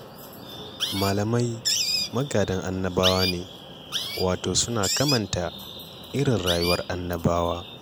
Malamai magadan annabawa ne, wato suna kamanta irin rayuwar annabawa.